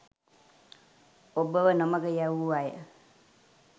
ඔබව නොමඟ යැවූ අය